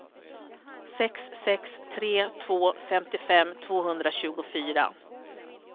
sex sex tre två femtiofem tvåhundratjugofyra